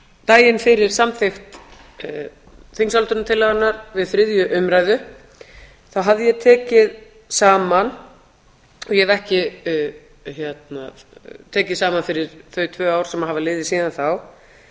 daginn fyrir samþykkt þingsályktunartillögunnar við þriðju umræðu þá hafði ég tekið saman ég hef ekki tekið saman fyrir þau tvö ár sem hafa liðið síðan þá